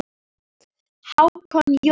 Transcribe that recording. Hákon Jóhann.